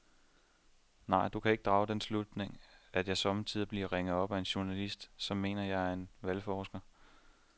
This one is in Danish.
Nej, du kan drage den slutning, at jeg sommetider bliver ringet op af journalister, som mener, at jeg er valgforsker.